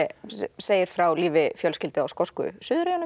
segir frá lífi fjölskyldu á skosku